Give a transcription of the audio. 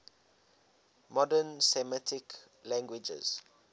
modern semitic languages